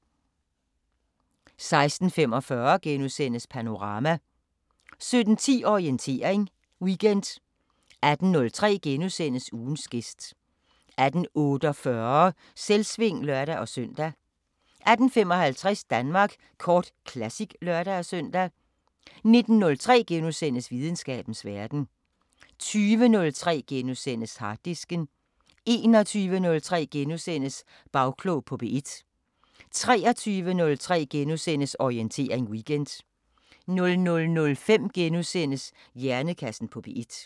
16:45: Panorama * 17:10: Orientering Weekend 18:03: Ugens gæst * 18:48: Selvsving (lør-søn) 18:55: Danmark Kort Classic (lør-søn) 19:03: Videnskabens Verden * 20:03: Harddisken * 21:03: Bagklog på P1 * 23:03: Orientering Weekend * 00:05: Hjernekassen på P1 *